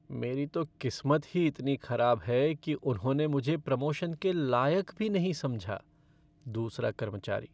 मेरी तो किस्मत ही इतनी खराब है कि उन्होंने मुझे प्रमोशन के लायक भी नहीं समझा। दूसरा कर्मचारी